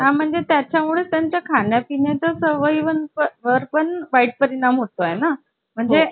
एक minute आ संपर्क क्रमांक घ्या सातशेसत्त्याहत्तर पाचशेपच्चावन